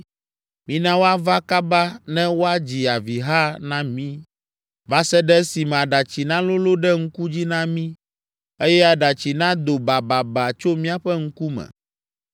Mina woava kaba ne woadzi aviha na mí va se ɖe esime aɖatsi nalolõ ɖe ŋku dzi na mí, eye aɖatsi nado bababa tso míaƒe ŋku me.